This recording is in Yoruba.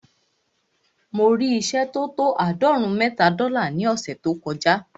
Mo rí ìṣẹ́ tó tó àádọ́rùn-ún mẹ́ta dọ́là ní ọ̀ṣẹ̀ tó kọ já.